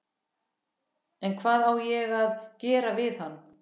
En hvað á ég að gera við hann?